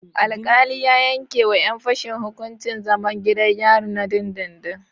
Alkali ya yanke wa yan fashen hukuncin zaman gidan yari na dindindin